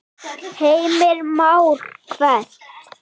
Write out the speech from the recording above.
Heimir Már: Hvert?